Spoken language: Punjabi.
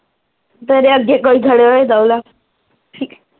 ਤੇਰੇ ਵਰਗੇ ਕੋ ਈ ਖੜੇ ਹੋਏਦਾ ਓਲਾ